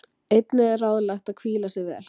einnig er ráðlegt að hvíla sig vel